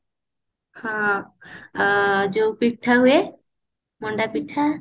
ହଁ ଯୋଉ ପିଠା ହୁଏ ମଣ୍ଡା ପିଠା